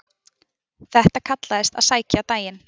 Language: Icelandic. Þetta kallaðist að sækja daginn.